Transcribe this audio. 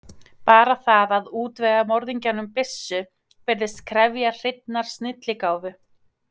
Bara það að útvega morðingjanum byssu virðist krefjast hreinnar snilligáfu.